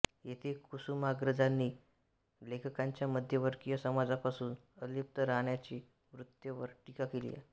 येथे कुसुमाग्रजांनी लेखकांच्या मध्यमवर्गीय समाजापासून अलिप्त राहण्याच्या वृत्तीवर टीका केली आहे